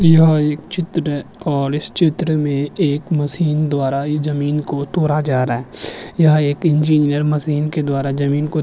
यह एक चित्र है और इस चित्र में एक मशीन द्वारा जमीन को तोड़ा जा रहा है यहां एक इंजीनियर मशीन के द्वारा जमीन को --